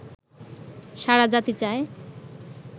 সারা জাতি চায়